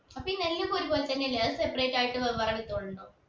അപ്പൊ ഈ നെല്ല് ഒക്കെ ഒരു പോലെ തന്നെയല്ലേ അത് separate ആയിട്ട് വെവ്വേറെ കിട്ടലുണ്ടോ